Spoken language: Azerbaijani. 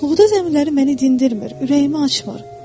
Buğda zəmiləri məni dindirmir, ürəyimi açmır.